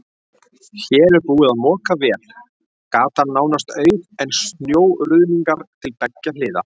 Hér er búið að moka vel, gatan nánast auð en snjóruðningar til beggja hliða.